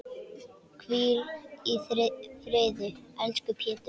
Hvíl í friði, elsku Pétur.